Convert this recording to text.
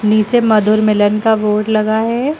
नीचे मधुर मिलन का बोर्ड लगा है।